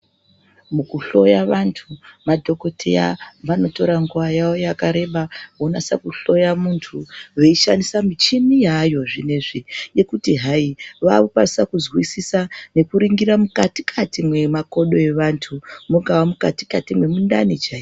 Mukuhloya vantu madhoKoteya vanotora nguva yavo yakareba vonasa kuhloyamuntu veishandisa michini yaayo zvinezvi yekuti hai vakukwanisa kuzwisisa nekuringira mukati-kati mwemakodo evantu mungava mukati-kati mwemundani chai.